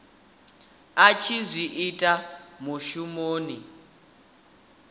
a tshi zwi ita mushumoni